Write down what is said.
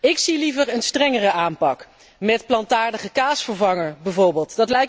Ik zie liever een strengere aanpak met plantaardige kaasvervanger bijvoorbeeld.